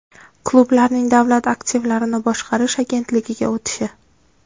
Klublarning Davlat aktivlarini boshqarish agentligiga o‘tishi?